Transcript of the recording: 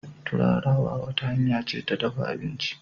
Turarawa wata hanya ce ta dafa abinci.